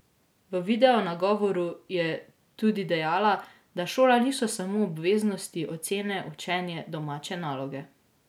V video nagovoru je tudi dejala, da šola niso samo obveznosti, ocene, učenje, domače naloge.